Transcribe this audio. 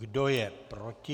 Kdo je proti?